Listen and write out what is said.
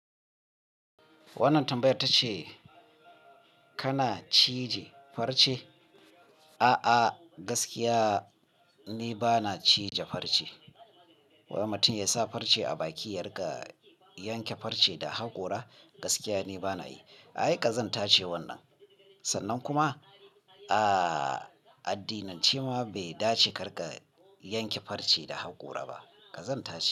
Wannan tambayar tace kana cije farce? A'a gaskiya ni bana cije farce. Wai mutum ya sa farce a baki ya riƙa yanke farce da haƙora gaskiya ni bana yi. Ai ƙazanta ce wannan. Sannan kuma, a addinance ma bai dace ka riƙa yanke farce da haƙora ba. Ƙazanta ce.